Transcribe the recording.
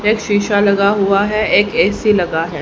एक शीशा लगा हुआ है एक ए_सी लगा है।